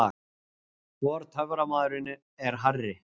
Hvor töframaðurinn er hærri?